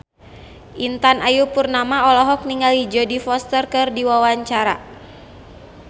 Intan Ayu Purnama olohok ningali Jodie Foster keur diwawancara